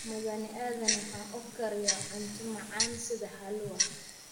Mudane Aadan waxa uu kariyaa cunto macaan sida halua